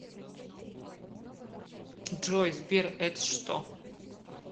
джой сбер эт что